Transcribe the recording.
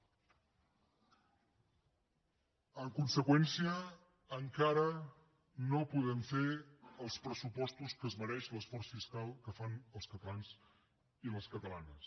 en conseqüència encara no podem fer els pressupostos que es mereix l’esforç fiscal que fan els catalans i les catalanes